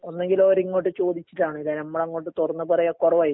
ഒന്നെങ്കില് അവരിങ്ങോട്ട് ചോദിച്ചിട്ടാണ് ഇല്ലാതെ നമ്മളങ്ങോട്ട് തൊറന്ന് പറയാ കൊറവായിരിക്കും.